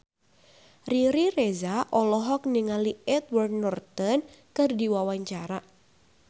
Riri Reza olohok ningali Edward Norton keur diwawancara